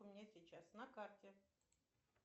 у меня сейчас на карте